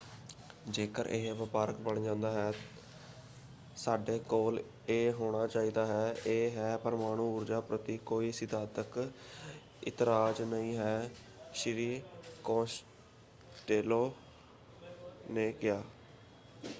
ਜੇਕਰ ਇਹ ਵਪਾਰਕ ਬਣ ਜਾਂਦਾ ਹੈ ਸਾਡੇ ਕੋਲ ਇਹ ਹੋਣਾ ਚਾਹੀਦਾ ਹੈ। ਇਹ ਹੈ ਪਰਮਾਣੂ ਊਰਜਾ ਪ੍ਰਤੀ ਕੋਈ ਸਿਧਾਂਤਕ ਇਤਰਾਜ਼ ਨਹੀਂ ਹੈ” ਸ਼੍ਰੀ ਕੋਸਟੇਲੋ ਨੇ ਕਿਹਾ।